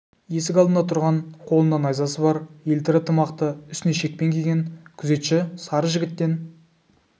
есік алдында тұрған қолында найзасы бар елтірі тымақты үстіне шекпен киген күзетші сары жігіттен